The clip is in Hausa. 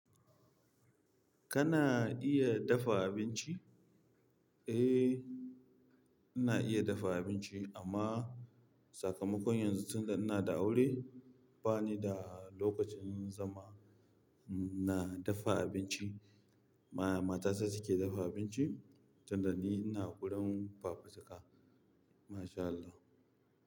Kana iya dafa abinci? Eh, ina iya dafa abinci amma sakamakon yanzu tunda ina da aure bani da lokacin zama na dafa abinci. Matata ce take dafa abinci tunda ni ina gurin fafutuka. MashaAllah.